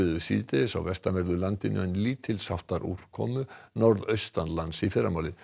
síðdegis á vestanverðu landinu en lítils háttar úrkomu norðaustanlands í fyrramálið